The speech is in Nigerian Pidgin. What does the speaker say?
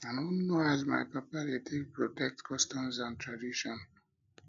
i know know as my papa dey take protect customs and traditions